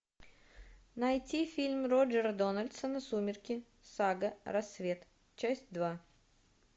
найти фильм роджера дональдсона сумерки сага рассвет часть два